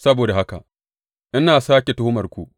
Saboda haka ina sāke tuhumarku,